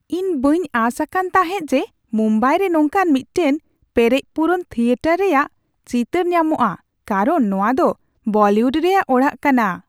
ᱤᱧ ᱵᱟᱹᱧ ᱟᱸᱥ ᱟᱠᱟᱱ ᱛᱟᱦᱮᱸᱫ ᱡᱮ ᱢᱩᱢᱵᱟᱭᱨᱮ ᱱᱚᱝᱠᱟᱱ ᱢᱤᱫᱴᱟᱝ ᱯᱮᱨᱮᱡᱼᱯᱩᱨᱩᱱ ᱛᱷᱤᱭᱮᱴᱟᱨ ᱨᱮᱭᱟᱜ ᱪᱤᱛᱟᱹᱨ ᱧᱟᱢᱚᱜᱼᱟ ᱠᱟᱨᱚᱱ ᱱᱚᱶᱟ ᱫᱚ ᱵᱚᱞᱤᱣᱩᱰ ᱨᱮᱭᱟᱜ ᱚᱲᱟᱜ ᱠᱟᱱᱟ ᱾